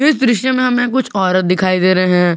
इस दृश्य में हमें कुछ औरत दिखाई दे रहे हैं।